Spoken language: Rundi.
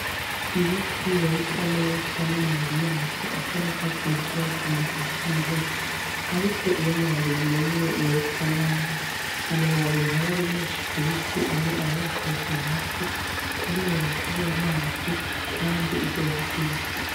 Ibiti bisa neza n'amababi yavyo asa n'urwatsi rutoto mu gihe c'imvura, ariko iyo amababi yumye biba bisa nabi amababi ntaba ari menshi ku biti, amwe aba yakorotse hasi kubera kubura amazi kandi izuba ari ryinshi.